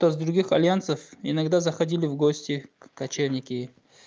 то с других альянсов иногда заходили в гости кочевники